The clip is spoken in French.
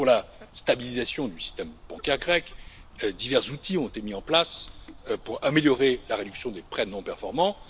Pour la stabilisation du système bancaire grec, divers outils ont été mis en place pour améliorer la réduction des prêts non performants.